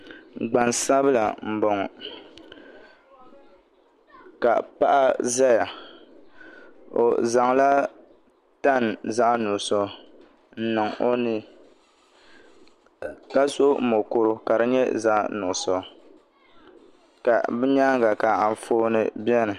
Gbansabila n boŋo ka paɣa ʒɛya o zaŋla tani zaɣ nuɣso n niŋ o ni ka so mokuru ka di nyɛ zaɣ nuɣso ka bi nyaanga ka Anfooni biɛni